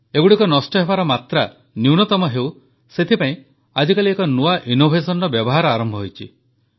ଏଗୁଡ଼ିକ ନଷ୍ଟ ହେବାର ମାତ୍ରା ନ୍ୟୁନତମ ହେଉ ସେଥିପାଇଁ ଆଜିକାଲି ଏକ ନୂଆ ଉପାୟ ଆରମ୍ଭ ହୋଇଛି